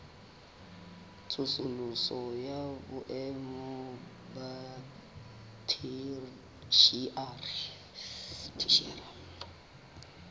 tsosoloso ya boemo ba theshiari